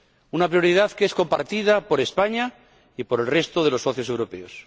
Una prioridad que es compartida por España y por el resto de los socios europeos.